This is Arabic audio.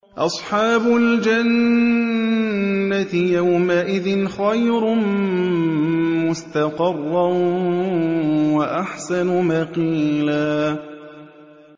أَصْحَابُ الْجَنَّةِ يَوْمَئِذٍ خَيْرٌ مُّسْتَقَرًّا وَأَحْسَنُ مَقِيلًا